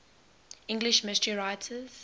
english mystery writers